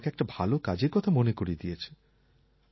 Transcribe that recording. সে আমাকে একটা ভালো কাজের কথা মনে করিয়ে দিয়েছে